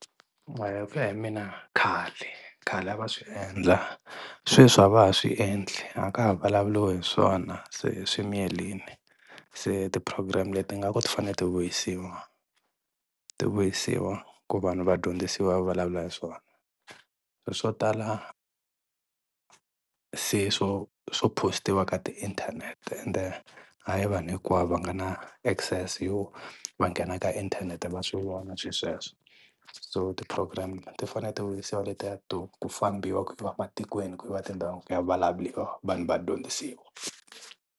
Hikuya hi mina khale khale a va swi endla sweswi a va ha swiendli a ka ha vulavuliwe hi swona se swi miyelini, se ti-program leti nga ku ti fane ti vuyisiwa ti vuyisiwa ku vanhu va dyondzisiwa va vulavula hi swona ri swo tala se swo swo post-iwa ka ti inthanete ende a hi vanhu hinkwavo va nga na access yo va nghena ka inthanete va swi vona swi sweswo so ti-program ti fane ti vuyisiwa letiwa to ku fambiwa ku yiwa ematikweni ku yiwa tindhawu ku ya vulavuriwa vanhu va dyondzisiwa.